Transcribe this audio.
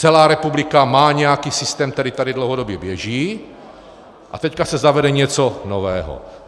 Celá republika má nějaký systém, který tady dlouhodobě běží, a teď se zavede něco nového.